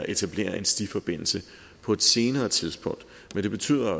etablere en stiforbindelse på et senere tidspunkt men det betyder